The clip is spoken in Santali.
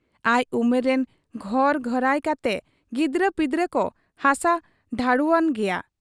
ᱟᱡ ᱩᱢᱮᱨ ᱨᱤᱱ ᱜᱷᱚᱨ ᱜᱷᱟᱹᱨᱟᱹᱭ ᱠᱟᱛᱮ ᱜᱤᱫᱽᱨᱟᱹ ᱯᱤᱫᱽᱨᱟᱹ ᱠᱚ ᱦᱟᱥᱟ ᱰᱷᱟᱺᱰᱩᱣᱟᱱ ᱜᱮᱭᱟ ᱾